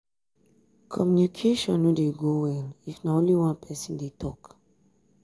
communication no de go well if na only one person de talk